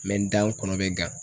dan kɔnɔ bɛ gan